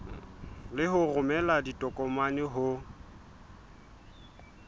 le ho romela ditokomane ho